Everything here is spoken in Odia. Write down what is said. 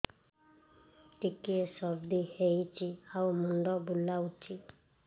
ଟିକିଏ ସର୍ଦ୍ଦି ହେଇଚି ଆଉ ମୁଣ୍ଡ ବୁଲାଉଛି